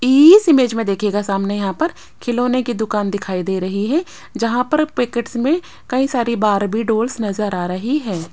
इस इमेज में देखिएगा सामने यहां पर खिलौने की दुकान दिखाई दे रही है जहां पर पैकेट्स में कई सारी बार्बी डॉल्स नज़र आ रही है।